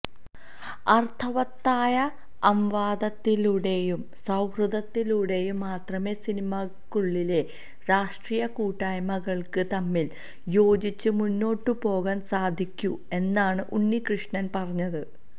അര്ത്ഥവത്തായ അംവാദത്തിലൂടെയും സൌഹൃദത്തിലൂടെയും മാത്രമേ സിനിമക്കുളളിലെ രാഷ്ട്രീയ കുട്ടായ്മകള്ക്ക് തമ്മില് യോജിച്ച് മുന്നോട്ട് പോകാന് സാധിക്കു എന്നാണ് ഉണ്ണികൃഷ്ണന് പറഞ്ഞത്